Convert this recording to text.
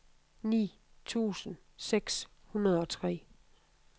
ni tusind seks hundrede og tre